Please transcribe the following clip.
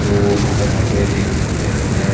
को यहाँ पे देख सकते हैं --